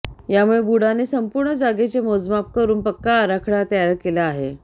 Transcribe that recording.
यामुळे बुडाने संपूर्ण जागेचे मोजमाप करून पक्का आराखडा तयार केला आहे